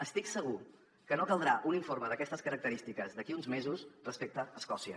estic segur que no caldrà un informe d’aquestes característiques d’aquí a uns mesos respecte a escòcia